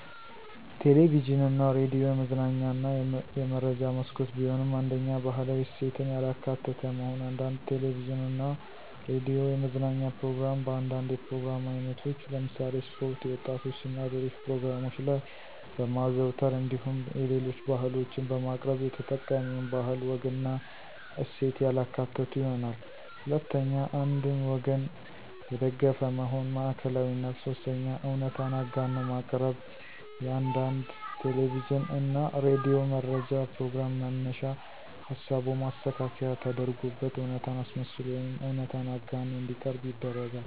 ቴሌቪዥን እና ሬዲዮ የመዝናኛ እና የመረጃ መስኮት ቢሆኑም፤ 1ኛ, ባህላዊ እሴትን ያላካተተ መሆን፦ አንዳንድ ቴለቪዥን እና ሬዲዮ የመዝናኛ ፕሮግራም በአንዳንድ የፕሮግራም አይነቶች ለምሳሌ ስፖርት፣ የወጣቶች እና ሌሎች ፕሮግራሞች ላይ በማዘውተር እንዲሁም የሌሎች ባህሎችን በማቅረብ የተጠቃሚውን ባህል፣ ወግና እሴት ያላካተቱ ይሆናሉ። 2ኛ, አንድን ወገን የደገፈ መሆን (ማዕከላዊነት)፦ 3ኛ, እውነታን አጋኖ ማቅረብ፦ የአንዳንድ ቴለቪዥን እና ሬዲዮ መረጃ ፕሮግራም መነሻ ሀሳቡ ማስተካከያ ተደርጎበት እውነታን አስመስሎ ወይም እውነታን አጋኖ እንዲቀርብ ይደረጋል።